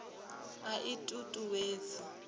a i t ut uwedzi